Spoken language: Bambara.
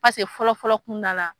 Paseke fɔlɔ fɔlɔ kunda la